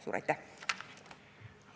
Suur aitäh!